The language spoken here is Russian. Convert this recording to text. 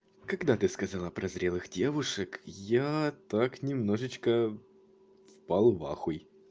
когда ты сказала про зрелых девушек я так немножечко впал в ахуй